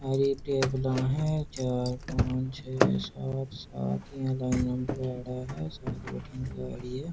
अरे ये टेबला है चार पांच छह सात सात इया लाइना में लगाउँडा है सात बठीने लाग री है।